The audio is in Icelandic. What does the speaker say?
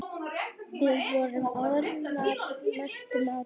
Við vorum orðnar mestu mátar.